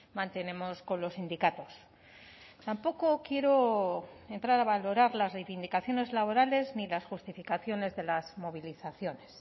mantenemos con los sindicatos tampoco quiero entrar a valorar las reivindicaciones laborales ni las justificaciones de las movilizaciones